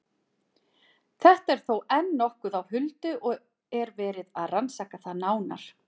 Þetta er þó enn nokkuð á huldu og er verið að rannsaka það nánar.